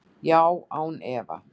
Já, án efa.